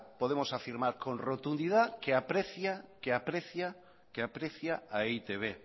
podemos afirmar con rotundidad que aprecia a e i te be